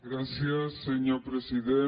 gràcies senyor president